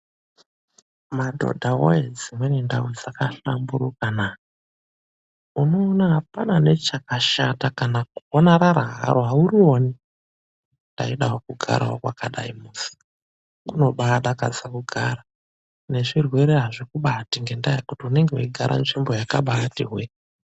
Madhodha woyee dzimweni ndau dzakahlamburika naa, unoona apana nechakashata kana kuona rara haro aurioni .Ndaidawo kugarawo kwakadayi kunobaa dakadza kugara, nezvirwere hazvikubati ngendaa yekuti unenge weyigara nzvimbo yakabaati hwee.